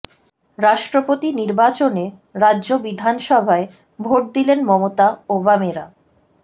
রাষ্ট্রপতি নির্বাচনে রাজ্য বিধানসভায় ভোট দিলেন মমতা ও বামেরা